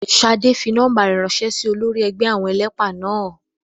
Ṣadé fi nọ́ọ́mbà rẹ̀ ránṣẹ́ sí olórí ẹgbẹ́ àwọn ẹlẹ́pà náà